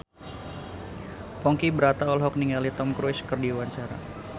Ponky Brata olohok ningali Tom Cruise keur diwawancara